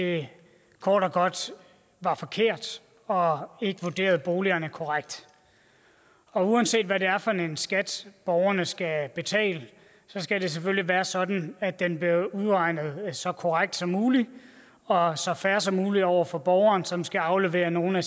det kort og godt var forkert og ikke vurderede boligerne korrekt uanset hvad det er for en skat borgerne skal betale skal det selvfølgelig være sådan at den bliver udregnet så korrekt som muligt og så fair som muligt over for borgerne som skal aflevere nogle af